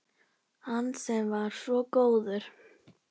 Hann sem var svo góður